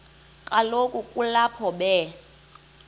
kaloku kulapho be